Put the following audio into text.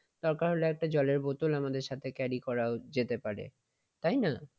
দরকার হলে একটা জলের বোতল আমাদের সাথে carry করা যেতে পারে। তাই না?